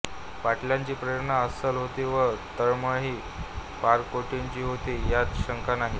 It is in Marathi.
पाटलांची प्रेरणा अस्सल होती व तळमळही पराकोटीची होती यात शंका नाही